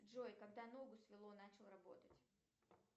джой когда ногу свело начал работать